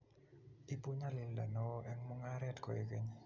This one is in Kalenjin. ibu nyalilda neo eng mungaret koek keny